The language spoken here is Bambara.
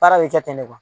Baara bɛ kɛ ten de kuwa